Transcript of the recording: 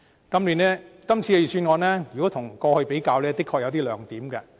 跟過去的預算案比較，今次的確有些亮點。